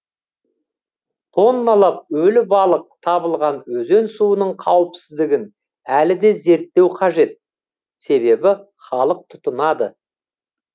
тонналап өлі балық табылған өзен суының қауіпсіздігін әлі де зерттеу қажет себебі халық тұтынады